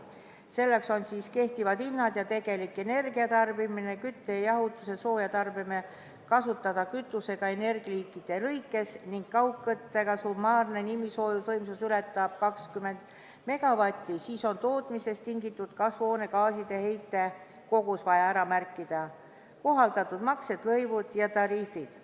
Selleks on kehtivad hinnad ja tegelik energiatarbimine; kütte, jahutuse ja sooja tarbevee kasutatud kütus energialiikide kaupa ning kui kaugküttevõrgu summaarne nimisoojusvõimsus ületab 20 megavatti, siis on vaja ära märkida tootmisest tingitud kasvuhoonegaaside heite kogus; kohaldatud maksud, lõivud ja tariifid.